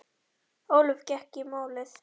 Ólöf gekk í málið.